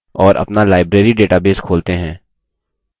और अपना library database खोलते हैं